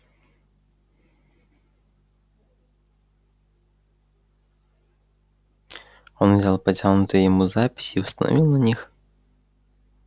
он взял потянутые ему записи и установил на них